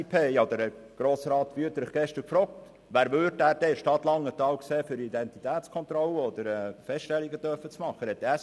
Ich habe gestern Grossrat Wüthrich gefragt, ob er sich denn vorstellen könnte, wer in der Stadt Langenthal die Identitätskontrollen und -feststellungen machen können soll.